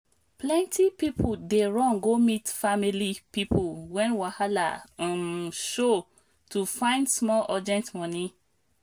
plenty people dey run go meet family people when wahala um show to find small urgent money.